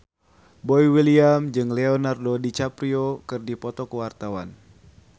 Boy William jeung Leonardo DiCaprio keur dipoto ku wartawan